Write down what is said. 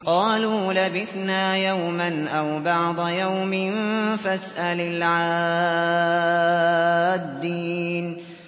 قَالُوا لَبِثْنَا يَوْمًا أَوْ بَعْضَ يَوْمٍ فَاسْأَلِ الْعَادِّينَ